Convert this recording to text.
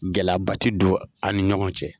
Gɛlɛyaba ti don a ni ɲɔgɔn cɛ.